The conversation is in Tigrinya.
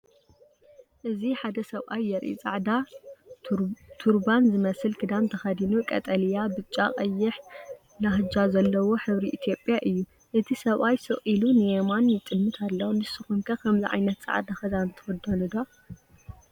እዚ ሓደ ሰብኣይ የርኢ። ጻዕዳ፡ ቱርባን ዝመስል ክዳን ተኸዲኑ፡ ቀጠልያ፡ ብጫ፡ ቀይሕ ላህጃ ዘለዎ፡ ሕብሪ ኢትዮጵያ እዩ። እቲ ሰብኣይ ስቕ ኢሉ ንየማን ይጥምት ኣሎ። ንስኩም ከ ከምዚ ዓይነት ፃዕዳ ክዳን ትክደኑ ደ?